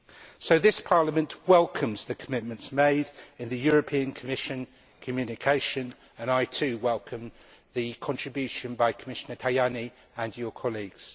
So this Parliament welcomes the commitments made in the Commission's communication, and I too welcome the contribution by Commissioner Tajani and his colleagues.